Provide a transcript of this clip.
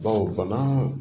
Bawo bana